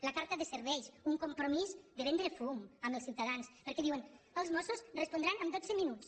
la carta de serveis un compromís de vendre fum als ciutadans perquè diuen els mossos respondran en dot·ze minuts